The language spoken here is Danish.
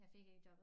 Jeg fik ikke jobbet